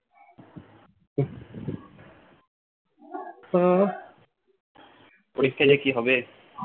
পরীক্ষা যে কি হবে